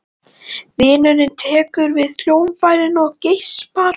Vinurinn tekur við hljóðfærinu og geispar.